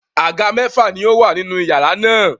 Àga mẹ́fà ni ó wà nínú iyàrá náà.